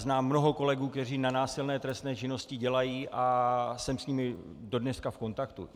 Znám mnoho kolegů, kteří na násilné trestné činnosti dělají, a jsem s nimi dodneška v kontaktu.